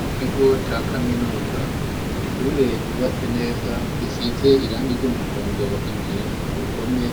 Mu kigo ca kaminuza, ishure ryubatse neza risize irangi ry'umuhondo imbere ku ruhome,